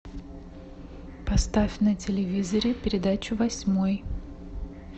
поставь на телевизоре передачу восьмой